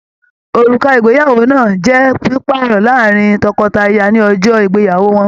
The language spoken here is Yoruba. Òrùka ìgbéyàwó náà n jẹ pipaarọ láàrin tọkọtaya ní ọjọ ìgbéyàwó wọn.